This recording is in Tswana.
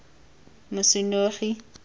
mosenogi